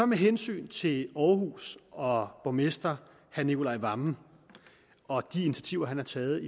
med hensyn til aarhus og borgmester herre nicolai wammen og de initiativer han har taget